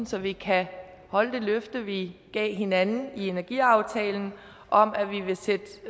så vi kan holde det løfte vi gav hinanden med energiaftalen om at vi vil sætte